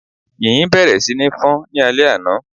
Yìnyín bẹ̀rẹ̀ sí ní fọ́n ní alé àna